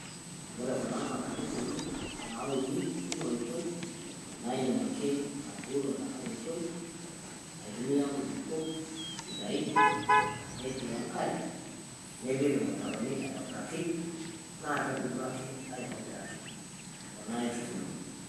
Wore kuna naa kaintubulu nauni tenkoitoi naidim ake atuuno tengae oitoi aitumia nkulukuok sidain natii enkare nipik ilmutaroni aitobiraki nakebulu ake